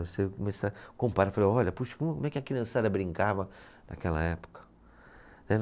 Você começa a comparar, falar, olha, puxa, como é que a criançada brincava naquela época.